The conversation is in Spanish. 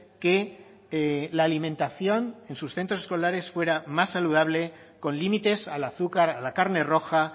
que la alimentación en sus centros escolares fuera más saludable con límites al azúcar a la carne roja